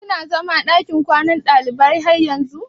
Kina zaman lakin kwanan ɗalibai har yanzun?